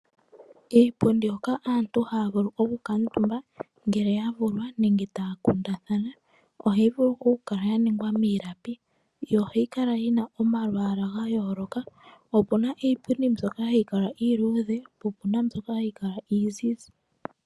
Iipundi oohoka asntu haavuku oku kuutumbwa, ngele ya vulwa nenge ta ya kundathana. Oha yi vulu oku kala ya ningwa miilapi, yo oha yi kala yina oma lwaala ga yooloka, opena iipundi mbyoka ha yi kala iiluudhe, opena mbyoka ha yi kala iizizi.